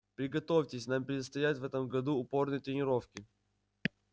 приготовьтесь нам предстоят в этом году упорные тренировки